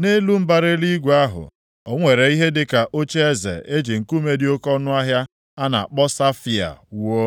Nʼelu mbara eluigwe ahụ, o nwere ihe dịka ocheeze e ji nkume dị oke ọnụahịa a na-akpọ safaia wuo.